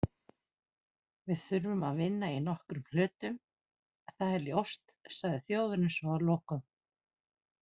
Við þurfum að vinna í nokkrum hlutum- það er ljóst, sagði Þjóðverjinn svo að lokum